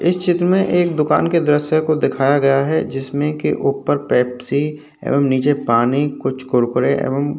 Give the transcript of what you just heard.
इस चित्र में एक दुकान के द्रश्य को दिखाया गया है। जिसमे की ऊपर पेप्सी और नीचे पानी कुछ कुरकुरे एवं --